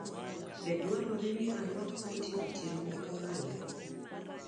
Be dwarore ni arwak koti otieno ma kawuono?